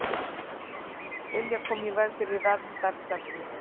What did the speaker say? Vilja koma í veg fyrir verndarstefnu